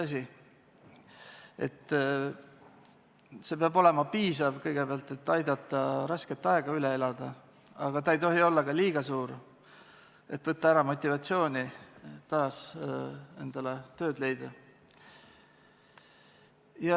See peab kõigepealt olema piisav, et aidata rasket aega üle elada, aga ta ei tohi olla ka liiga suur ega võtta ära motivatsiooni taas endale tööd leida.